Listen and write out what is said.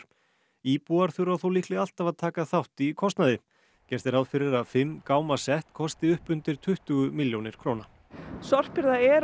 íbúar þurfa þó líklega alltaf að taka þátt í kostnaði gert er ráð fyrir að fimm gáma sett kosti upp undir tuttugu milljónir króna sorphirða er